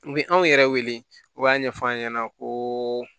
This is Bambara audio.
U bɛ anw yɛrɛ wele u b'a ɲɛf'an ɲɛna ko